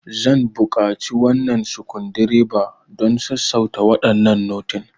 Zan buƙaci wannan sukundireba don sassauta waɗannan notin.